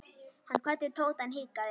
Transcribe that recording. Hann kvaddi Tóta en hikaði.